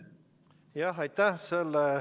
Jah, aitäh!